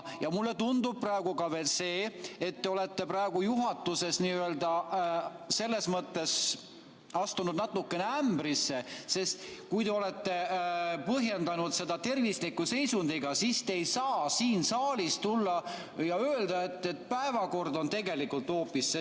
Mulle tundub praegu ka, et te olete juhatuses selles mõttes astunud natukene ämbrisse, sest kui te olete põhjendanud seda tervisliku seisundiga, siis te ei saa siin saalis tulla ja öelda, et päevakord on tegelikult hoopis see.